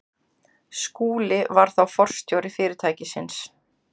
Skúli var þá forstjóri fyrirtækisins.